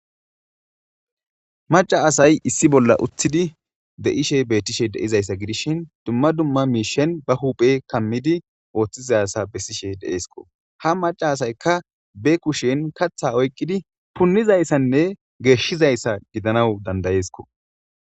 Maca asay issi bolla utthidi de7ishe beettishe deizayssa gidishin dumma dumma miishen ba huphe kammidi ooththizassa bessishe de7eesko ha maca asaykka be kushen katha oykqidi punnizayssanne geeshshizayssa gidanawu dandayeeskko.